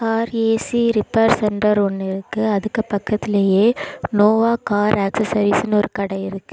Car A C repair centre ஒன்னு இருக்கு அதுக்கு பக்கத்திலேயே நோவா கார் ஆக்சஸரீஸ்னு ஒரு கட இருக்கு.